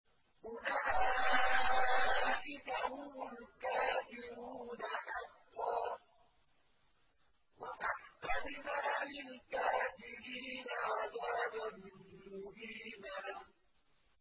أُولَٰئِكَ هُمُ الْكَافِرُونَ حَقًّا ۚ وَأَعْتَدْنَا لِلْكَافِرِينَ عَذَابًا مُّهِينًا